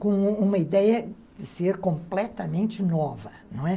com uma ideia de ser completamente nova, não é?